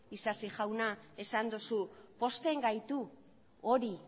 isasi jauna esan duzu pozten gaitu hori